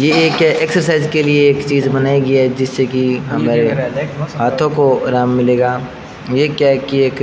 ये एक एक्सरसाइज के लिए एक चीज बनाई गई है जिससे कि हमारे हाथों को आराम मिलेगा ये क्या की एक